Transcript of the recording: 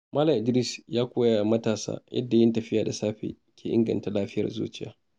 Malam Idris ya koya wa matasa yadda yin tafiya da safe ke inganta lafiyar zuciya.